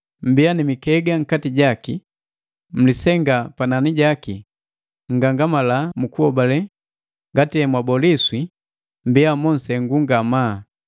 Mmbiya ni mikega nkati jaki, mulisenga panani jaki nngangamala mu kuhobale ngati emwaboliswa. Mmbiya monsengu ngamaa.